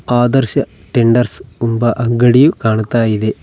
ಆದರ್ಶ tenders ಎಂಬ ಅಂಗಡಿಯು ಕಾಣ್ತಾ ಇದೆ.